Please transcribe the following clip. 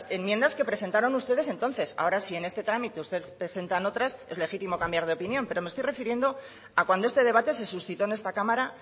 enmiendas que enmiendas que presentaron ustedes entonces ahora si en este trámite ustedes presentan otras es legítimo cambiar de opinión pero me estoy refiriendo a cuanto este debate se suscitó en esta cámara